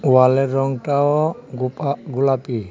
ওয়ালের রঙটাও গোপা-গোলাপি .